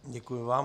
Děkuji vám.